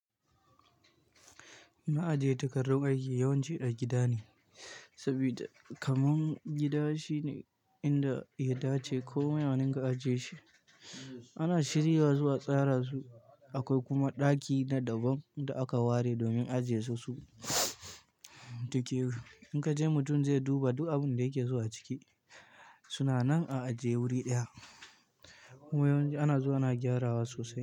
Ma'ajiyar takardun aiki yawanci a gida ne, saboda kaman gida shine inda ya dace inda komi a ɗinka ajiye shi. Ana shirya zuwa tsarasu, akwai kuma ɗaki na daban da aka ware domin ajiyesu su. Dake in ka je mutum zai duba duk abin da yake zuwa ciki. Suna nan a ajiye guri ɗaya. Yawanci ana zuwa ana gyarawa sosai.